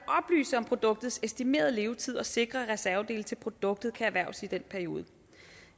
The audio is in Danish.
at oplyse om produktets estimerede levetid og sikre at reservedele til produktet kan erhverves i den periode